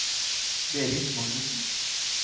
Berit Magnussen